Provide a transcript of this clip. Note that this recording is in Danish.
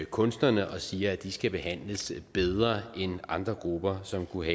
kunstnerne og siger at de skal behandles bedre end andre grupper som kunne